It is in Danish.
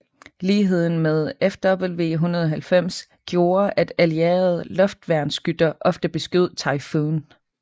Ligheden med Fw 190 gjorde at allierede luftværnsskytter ofte beskød Typhoon